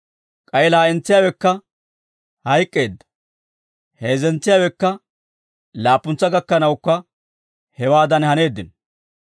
K'ay laa'entsiyaawekka hayk'k'eedda; heezzetsiyaawekka, laappuntsa gakkanawukka hewaadan haneeddino.